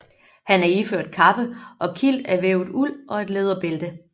Han er iført kappe og kilt af vævet uld og et læderbælte